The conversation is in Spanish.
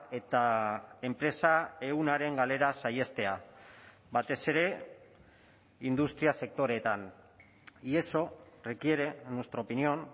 eta enpresa ehunaren galera saihestea batez ere industria sektoreetan y eso requiere en nuestra opinión